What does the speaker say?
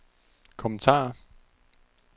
kommentarer